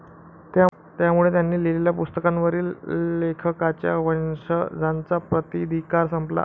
त्यामुळे त्यांनी लिहिलेल्या पुस्तकांवरील लेखकाच्या वंशजांचा प्रताधिकार संपला.